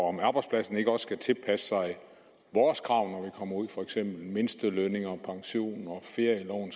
om arbejdspladsen ikke også skal tilpasse sig vores krav når vi kommer ud for eksempel med mindstelønninger og pension og ferieloven